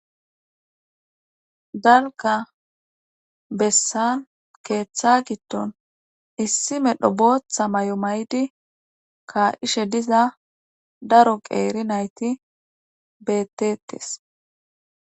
Dalga bessan keeththa gitton issime dho bootha may7o may7di ka7ishe diza daro qeeri nayti bettetes.